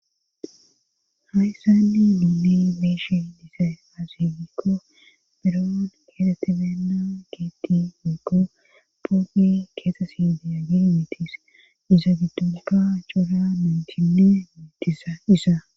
Hayssanni miney beeshi disay asigikko biroon keeteti beenna gieti miiko poogi keexesi diya gimitis iza giddunka cora muntinnee miitisa isaa